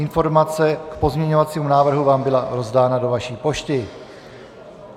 Informace k pozměňovacímu návrhu vám byla rozdána do vaší pošty.